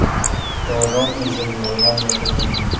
Yolg‘on O‘zim yolg‘on gapirmayman.